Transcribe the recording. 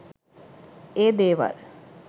ඒ දේවල්